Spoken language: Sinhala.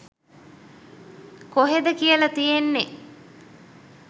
කොහෙද කියල තියෙන්නෙ?